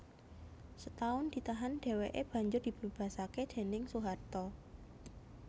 Setahun ditahan dhèwèké banjur dibebasaké déning Soeharto